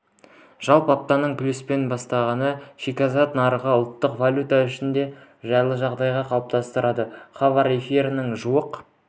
жалпы аптаны плюспен бастаған шикізат нарығы ұлттық валюта үшін де жайлы жағдай қалыптастырды хабар эфирінен жуық